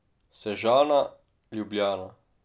Sežana, Ljubljana.